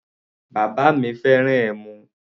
Bàbá mi fẹ́ràn ẹmu.